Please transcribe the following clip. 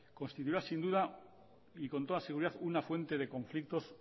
constituirá sin duda y con toda seguridad una fuente de conflictos